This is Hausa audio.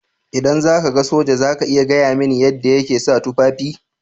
Idan ka ga soja za ka iya gaya mini yadda yake sa tufafi.